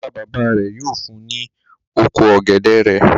Bàbá-bàbá rẹ̀ yóò fun ní oko ọ̀gẹ̀dẹ̀ rẹ̀.